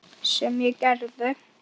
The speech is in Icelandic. Sem ég gerði.